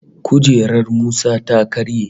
Kujerar Musa ta karye